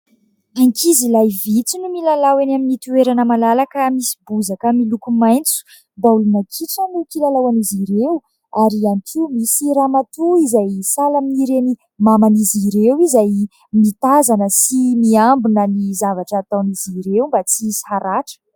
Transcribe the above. Ankizilahy vitsy no milalao eny amin'ny toerana malalaka misy bozaka miloko maitso. Baolina kitra no kilalaon'izy ireo ary ihany ko misy ramatoa izay sahala amin'ireny maman'izy ireo izay mitazana sy miambina ny zavatra ataon'izy ireo mba tsy ihisy haratra.